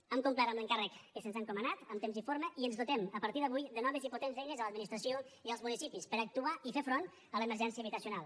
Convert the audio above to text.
hem complert amb l’encàrrec que se’ns ha encomanat en temps i forma i ens dotem a partir d’avui de noves i potents eines a l’administració i als municipis per actuar i fer front a l’emergència habitacional